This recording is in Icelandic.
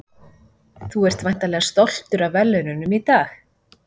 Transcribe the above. Þú ert væntanlega stoltur af verðlaununum í dag?